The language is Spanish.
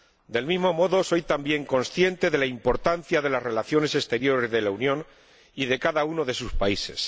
Del mismo modo, soy también consciente de la importancia de las relaciones exteriores de la Unión y de cada uno de sus países